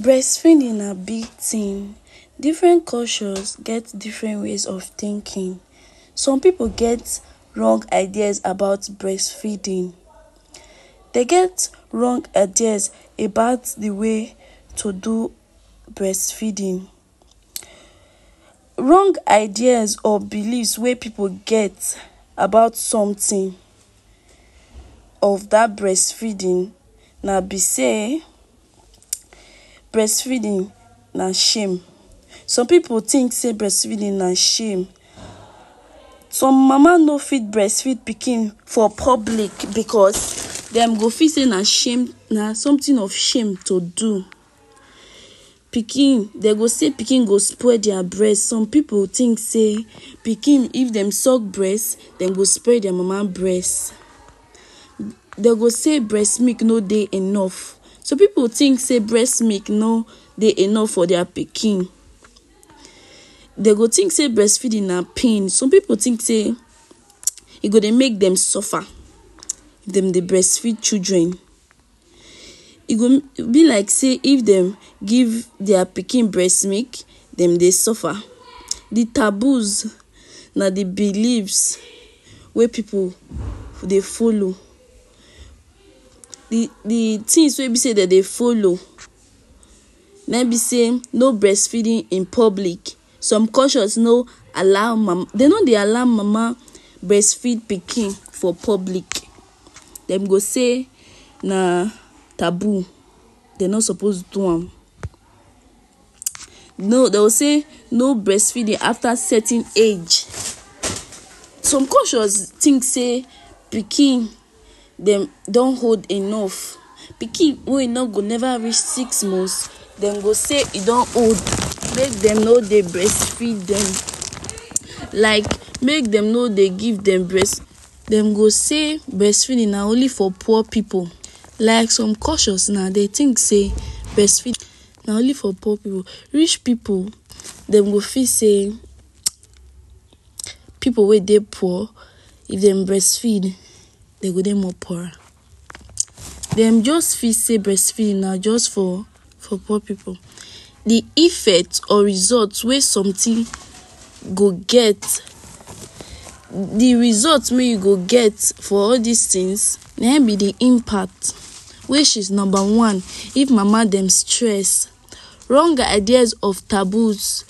Breast feeding na big tin, different cultures get different ways of thinking, some pipu get wrong ideas about breastfeeding dem get wrong ideas about d way to do breastfeeding, wrong ideas or believes wey pipu get about something of dat breast feeding na b say, breastfeeding na shame, some pipu think sey breast feeding na shame, some mama no fit breast feed pikin for public because dem go fit sey na shame na something of shame to do, pikin dem go sey d pikin go spoil dia breast, some pipu think sey pikin if dem sulk braest dem go spoil dem mama breast, dem go sey breast milk no dey enough, some pipu think sey breast milk no dey enough for dia pikin, dem go think sey breast feeding na pain, some pipu think sey ego dey make dem suffer, if dem dey breast feed children, e go b like sey if dem give dia pikin breast milk, dem dey suffer, d taboos na d belives wey pipu dey follow, d d things wey b say dem dey follow, na im b sey no breast feeding in public, some culture no allow mama dem no dey allow mama breastfeed pikin for public, dem go say na taboo dem no suppose do am, no dem go sey no breastfeeding afta certain age, some cultures think sey pikin dem don old enough, pikin wey e no go neva reach six months dem go sey e don old make dem no dey breastfeed dem, like make dem no dey give dem breast, dem go sey breastfeeding na only for poor pipu, like some cultures dem think sey breastfeeding na only for poor pipu, rich pipu, dem go fit sey, pipu wey dey poor if dem breast feed e go dey more poorer, dem just feel sey breastfeeding na just for for poor pipu, d effect or result wey somrthing go get, d result wey you go get for all dis things na hin b d impact which is number one, if mama dem stress, wrong ideas of taboos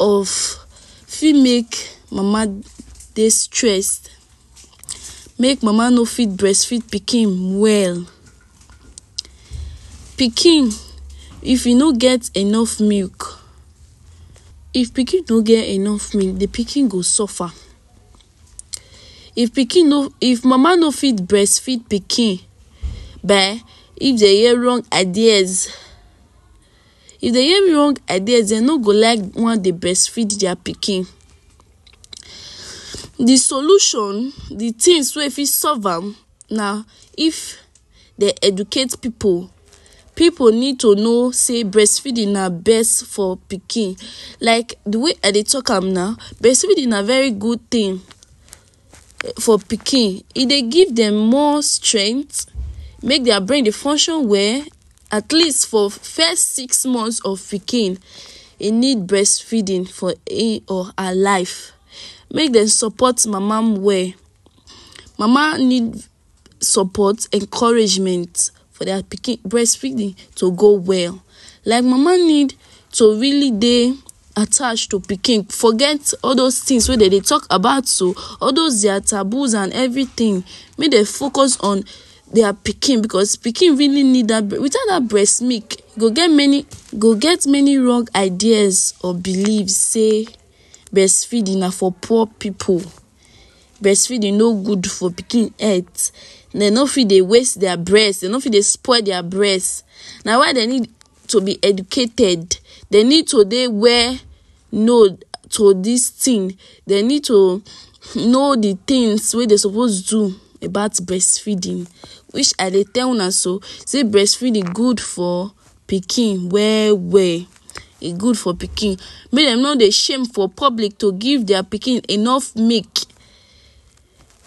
of fit make mama dey stress make mama no fit breastfeed pikin well, pikin if hin no get enough milk if pikin no get enough de pikin go suffer, if pikin no if mama no fit breastfeed pikin by if dem hear wrong ideas, if dem hear wrong ideas dem no go like wan dey breast feed dia pikin, d solution, d things wey fit solve am na if dem educate pipu, pipu need to know sey breast feeding na best for pikin, like d wey I dey talk am now, breastfeeding na very good thing for pikin, e dey give dem more strength make dia brain dey function well atleast for first six months of pikin, hin need breast feeding for him or her life, make dem support mama well, mama need support, encouragement for dia pikin breastfeeding to go well, like mama need to really dey attached to pikin, forget all those things wey dem dey talk about pikin so, all those dia taboos and everything make dem focus on dia pikin, because pikin really need dat, without dat breast milk e go get many e go get many wrong ideas or believes sey breastfeeding na for poor pipu, breast feeding no good for pikin health, dem no fit dey waste dia breast, dem no fit dey spoil dia breast, na why dem need to b educated, dem need to dey where to dis thing, dem need to know d things wey dem suppose do about breastfeeding, which I dey tell una so, sey breastfeeding good for pikin well well, e good for pikin, make dem no dey shame for public to give dia pikin enough milk,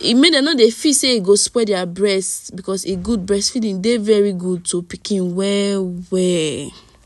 make dem no dey feel sey e go spoil dia breast, because e gud breast feeding dey very good to pikin well well.